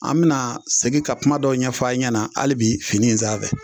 An bɛna segin ka kuma dɔ ɲɛfɔ a ɲɛna hali bi fini in sanfɛ.